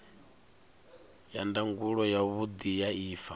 ya ndangulo yavhudi ya ifa